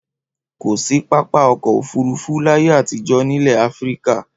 Kò sí pápá ọkọ̀-òfurufú láyé àtijọ́ nílẹ̀ Áfíríkà.